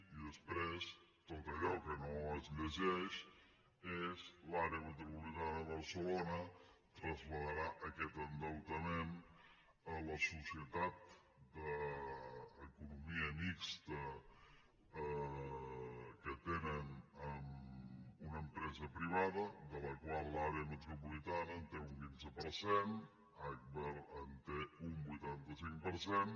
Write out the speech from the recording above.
i després tot allò que no es llegeix és l’àrea metropolitana de barcelona traslladarà aquest endeutament a la societat d’economia mixta que tenen amb una empresa privada de la qual l’àrea metropolitana en té un quinze per cent agbar en té un vuitanta cinc per cent